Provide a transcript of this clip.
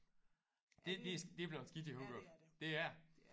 Det det det er bleven skidt i Hurup det er det